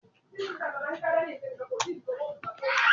igba ọjọ bèèrè laarin osù June ati July ní ọdún tí o kọjá